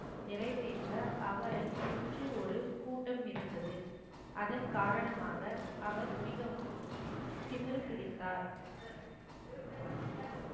நிறைவேற்ற அவரை சுற்றி ஒரு கூட்டம் இருந்தது அதன் காரணமாக அவர் மிகவும் திமிரு பிடித்தார்